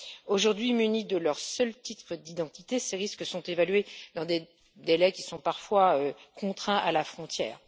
Aujourd'hui, munis de leur seul titre d'identité, ces risques sont évalués dans des délais qui sont parfois contraints à la frontière.